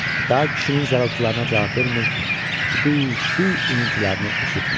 Daha kişinin zarıltılarına cavab vermir, su, su iniltilərini eşitmir.